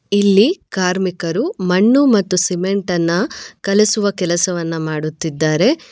ಇಲ್ಲಿ ಕಾರ್ಮಿಕರು ಮಣ್ಣು ಮತ್ತು ಸಿಮೆಂಟ್ ಅನ್ನ ಕಲಿಸುವ ಕೆಲಸವನ್ನ ಮಾಡುತ್ತಿದ್ದಾರೆ.